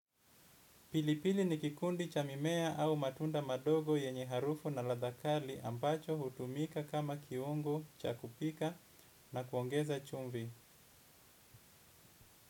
Pilipili ni kikundi cha mimea au matunda madogo yenye harufu na ladha kali ambacho hutumika kama kiungo cha kupika na kuongeza chumvi.